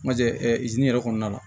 Ma jɛ ɛ yɛrɛ kɔnɔna na